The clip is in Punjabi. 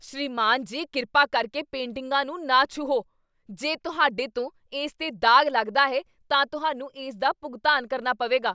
ਸ੍ਰੀਮਾਨ ਜੀ, ਕਿਰਪਾ ਕਰਕੇ ਪੇਂਟਿੰਗਾਂ ਨੂੰ ਨਾ ਛੂਹੋ! ਜੇ ਤੁਹਾਡੇ ਤੋਂ ਇਸ 'ਤੇ ਦਾਗ ਲੱਗਦਾ ਹੈ, ਤਾਂ ਤੁਹਾਨੂੰ ਇਸ ਦਾ ਭੁਗਤਾਨ ਕਰਨਾ ਪਵੇਗਾ।